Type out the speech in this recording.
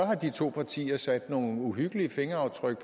har de to partier sat nogle uhyggelige fingeraftryk